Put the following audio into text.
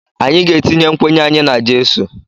Anyị ga-etinye nkwenye anyị n’jesu